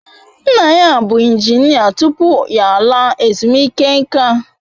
Nna ya bụ injinia tupu ya laa ezumike nka